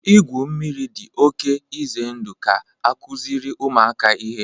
igwu mmiri dị oke ize ndụ ka akụziri ụmụaka ihe